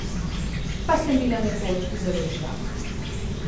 Pa sem bila nekoč zelo živahna!